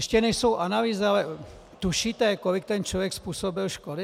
Ještě nejsou analýzy, ale tušíte, kolik ten člověk způsobil škody?